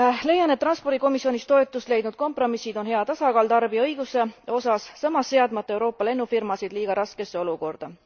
Leian, et transpordikomisjonis toetust leidnud kompromissid on hea tasakaal tarbijaõiguse osas, samas seadmata Euroopa lennufirmasid liiga raskesse olukorda.